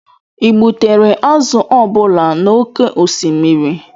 ị gbutere azụ ọ bụla n'oké osimiri?